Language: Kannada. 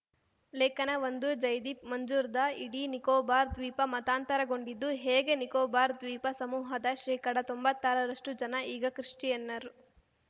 ಲೇಖನಒಂದು ಜೈದೀಪ್‌ ಮುಜುಂದಾರ್‌ ಇಡೀ ನಿಕೋಬಾರ್‌ ದ್ವೀಪ ಮತಾಂತರಗೊಂಡಿದ್ದು ಹೇಗೆ ನಿಕೋಬಾರ್‌ ದ್ವೀಪ ಸಮೂಹದ ಶೇಕಡತೊಂಬತ್ತಾರರಷ್ಟುಜನ ಈಗ ಕ್ರಿಶ್ಚಿಯನ್ನರು